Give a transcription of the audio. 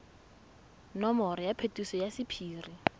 nomoro ya phetiso ya sephiri